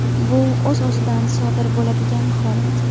Bu o‘z-o‘zidan sodir bo‘ladigan holat.